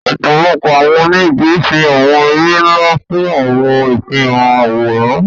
Ọpọlọpọ awọn onigi ṣe awọn ere nla fun awọn ifihan aworan